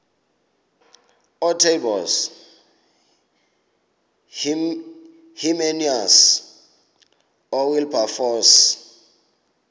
ootaaibos hermanus oowilberforce